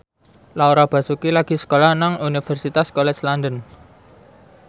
Laura Basuki lagi sekolah nang Universitas College London